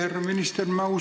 Härra minister!